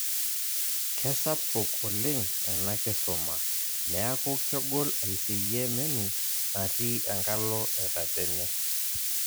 Kesapuk oleng' ena kisuma , neaku kegol aiseyie menu natii enkalo etatene